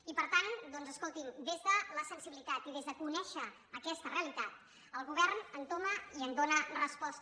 i per tant doncs escolti’m des de la sensibilitat i des de conèixer aquesta realitat el govern entoma i hi dóna resposta